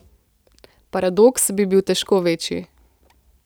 Paradoks bi bil težko večji.